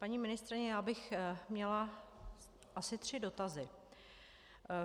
Paní ministryně, já bych měla asi tři dotazy.